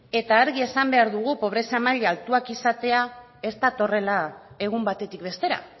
eta argi esan behar dugu pobrezia maila altua izatea ez datorrela egun batetik bestera